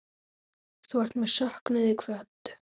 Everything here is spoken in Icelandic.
Þú ert með söknuði kvödd.